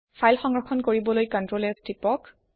file সংৰক্ষণ কৰিবলৈ Ctrl S টিপক